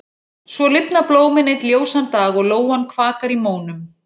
Svo lifna blómin einn ljósan dag og lóan kvakar í mónum.